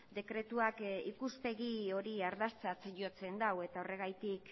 dekretuak ikuspegi hori ardatzat jotzen du eta horregatik